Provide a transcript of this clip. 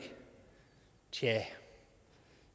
tja